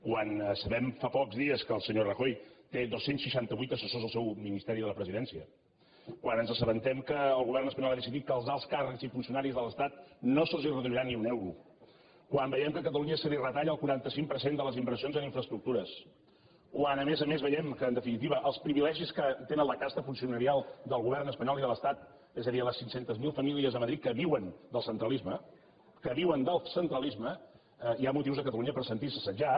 quan sabem fa pocs dies que el senyor rajoy té dos cents i seixanta vuit assessors al seu ministeri de la presidència quan ens assabentem que el govern espanyol ha decidit que als alts càrrecs i funcionaris de l’estat no se’ls reduirà ni un euro quan veiem que a catalunya se li retalla el quaranta cinc per cent de les inversions en infraestructures quan a més a més veiem en definitiva els privilegis que tenen la casta funcionarial del govern espanyol i de l’estat és a dir les cinc cents miler famílies de madrid que viuen del centralisme que viuen del centralisme hi ha motius a catalunya per sentir se assetjat